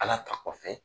Ala ta kɔfɛ